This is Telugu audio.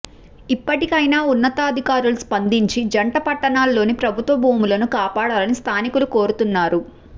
ఇప్పటికైనా ఉన్నతాధికారులు స్పందించి జంట పట్టణాల్లోని ప్రభుత్వ భూములను కాపాడాలని స్థానికులు కోరుతున్నారు